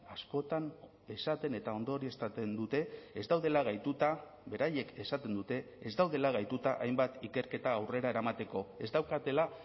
askotan esaten eta ondorioztatzen dute ez daudela gaituta beraiek esaten dute ez daudela gaituta hainbat ikerketa aurrera eramateko ez daukatela